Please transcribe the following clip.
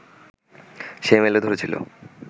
সে মেলে ধরেছিল